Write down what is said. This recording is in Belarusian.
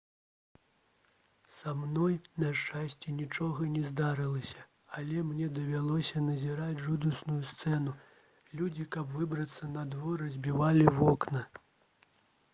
са мной на шчасце нічога не здарылася але мне давялося назіраць жудасную сцэну людзі каб выбрацца надвор разбівалі вокны